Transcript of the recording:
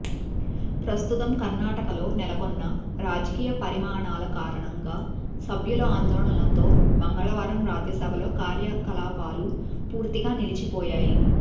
ప్రస్తుతం కర్ణాటకలో నెలకొన్న రాజకీయ పరిమాణాల కారణంగా సభ్యుల ఆందోళనలతో మంగళవారం రాజ్యసభలో కార్యకలాపాలు పూర్తిగా నిలిచిపోయాయి